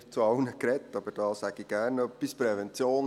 Ich habe nicht zu allem gesprochen, aber hierzu sage ich gerne etwas.